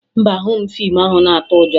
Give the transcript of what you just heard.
Mba, ahụghị m fiimu ahụ na-atụ ụjọ